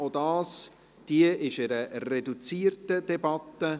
Auch hier führen wir eine reduzierte Debatte.